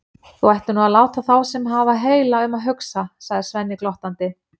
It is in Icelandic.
Þú ættir nú að láta þá sem hafa heila um að hugsa, sagði Svenni glottandi.